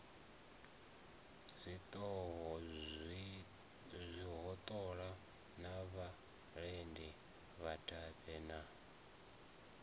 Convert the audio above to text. zwihoṱola na vhalidi vhadabe na